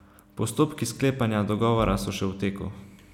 Postopki sklepanja dogovora so še v teku.